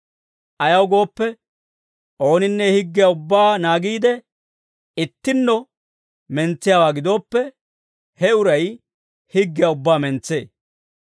Ayaw gooppe, ooninne higgiyaa ubbaa naagiide, ittinno mentsiyaawaa gidooppe, he uray higgiyaa ubbaa mentsee.